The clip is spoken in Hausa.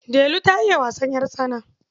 Delu ta iya wasan ƴartsana.